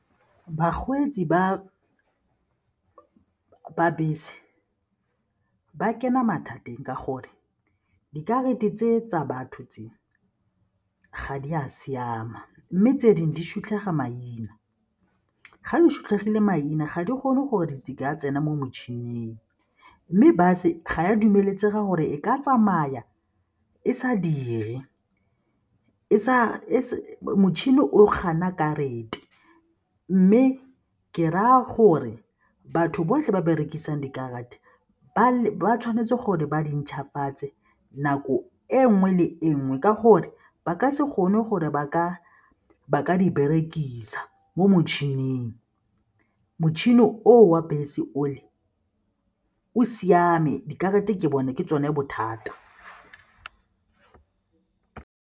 Bakgweetsi ba bese ba kena mathateng ka gore dikarata tse tsa batho tse ga di a siama mme tse dingwe di sutlhega maina. Ga di sutlhegile maina ga di kgone gore di ka tsena mo motšhining mme bus-e ga e a dumeletsega gore e ka tsamaya e sa dire, motšhini o gana karata mme ke raya gore batho botlhe ba berekisang dikarata ba tshwanetse gore ba di ntšhwafatse nako e nngwe le enngwe ka gore ba ka se gone gore ba ka di berekisa mo motšhining. Motšhini o wa bese ole o siame, dikarata ke bone ke tsone bothata.